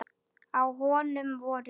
Á honum voru